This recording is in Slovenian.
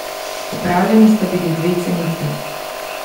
Opravljeni sta bili dve cenitvi.